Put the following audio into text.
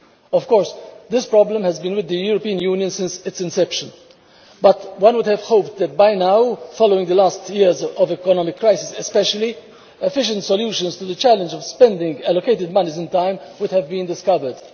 Of course this problem has been with the European Union since its inception, but one would have hoped that by now especially following the recent years of economic crisis efficient solutions to the challenge of spending allocated monies in time would have been discovered.